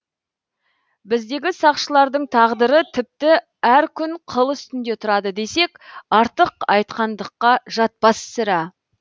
біздегі сақшылардың тағдыры тіпті әр күн қыл үстінде тұрады десек артық айтқандыққа жатпас сірә